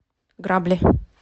грабли